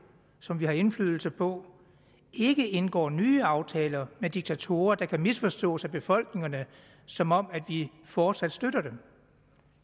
som vi har indflydelse på ikke indgår nye aftaler med diktatorer der kan misforstås af befolkningerne som om vi fortsat støtter dem